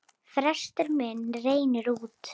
Frestur minn rennur út.